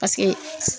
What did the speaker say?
Paseke